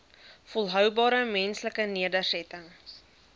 volhoubare menslike nedersettings